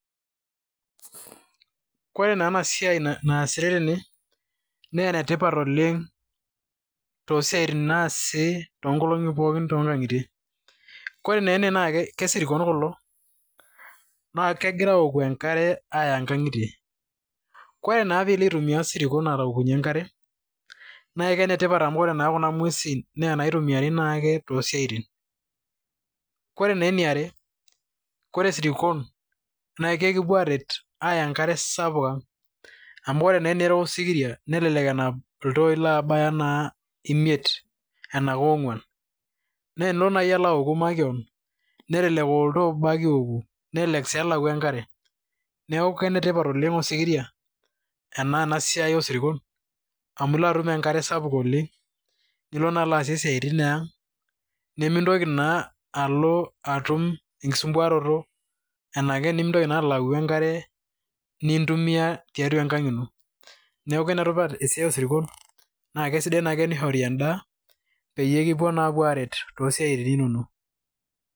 Ore naa enasiai naasitae tene na enetipat Oleng toosiatin naasi tonkolongi pookin toonkangitie, koree naa ena naa ke sirkon kulo na kegira aoku enkare aya nkangitie, ore naa pilo aitumia sirkon aukunye enkare ,nakenetipat amu ore naa kuna ngwesi na naitumiai ake tosiatin, ore eniare koree sirkon kekipou aret aya enkare sapuk ang amu ore naa tenirok osikiria, nelelk enap iltoi labaya imiet anaa keonguan, na tenilo nai aoku makeon, nelelek aa oltoo obo ake iwoku nelelek a kelakwa enkare, neaku kenetipat oleng osikiria tenaa siai amu ilo atum enkare sapuk oleng, nilo naa asie siatin nimintoki naa alo atum enkisumbuaroto ashu ake nemilau enkare nintumia tiatuaenkang ino na kesidai ake enishori endaa peyie kipuo naa apuo aret tosiatin inono.